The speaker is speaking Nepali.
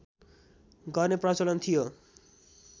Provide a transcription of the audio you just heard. गर्ने प्रचलन थियो